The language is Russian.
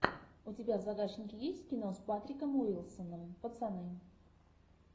у тебя в загашнике есть кино с патриком уилсоном пацаны